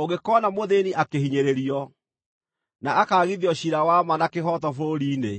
Ũngĩkoona mũthĩĩni akĩhinyĩrĩrio, na akaagithio ciira wa ma na kĩhooto bũrũri-inĩ,